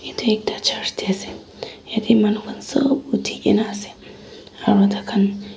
edu ekta church tae ase yatae manu khan sop uthikae na ase aro takhan.